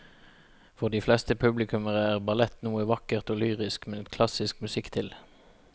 For de fleste publikummere er ballett noe vakkert og lyrisk med klassisk musikk til.